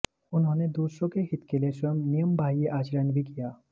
उन्होंने दूसरों के हित के लिए स्वयं नियमबाह्य आचरण भी किया